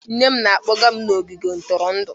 Nne m na-akpọga m n'ogige ntụrụndụ